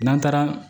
N'an taara